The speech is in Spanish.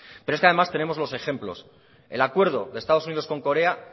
pero es que además tenemos los ejemplos el acuerdo de estados unidos con corea